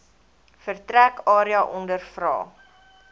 vertrek area ondervra